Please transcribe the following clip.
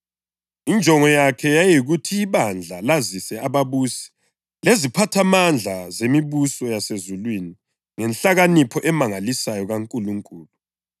Injongo yakhe yayiyikuthi ibandla lazise ababusi leziphathamandla zemibuso yasezulwini ngenhlakanipho emangalisayo kaNkulunkulu,